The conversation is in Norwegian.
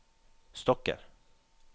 stokker